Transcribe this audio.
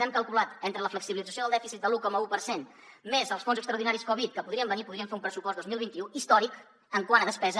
hem calculat entre la flexibilització del dèficit de l’un coma un per cent més els fons extraordinaris covid que podrien venir podríem fer un pressupost dos mil vint u històric quant a despesa